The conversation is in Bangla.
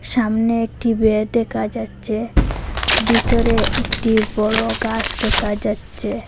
সামনে একটি বেড় দেখা যাচ্ছে ভিটোরে একটি বড় গাস দেকা যাচ্ছে।